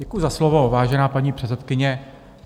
Děkuji za slovo, vážená paní předsedkyně.